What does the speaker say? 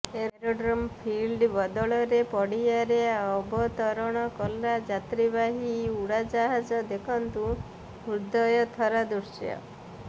aerodrome field ବଦଳରେ ପଡ଼ିଆରେ ଅବତରଣ କଲା ଯାତ୍ରୀବାହୀ ଉଡ଼ାଜାହଜ ଦେଖନ୍ତୁ ହୃଦୟଥରା ଦୃଶ୍ୟ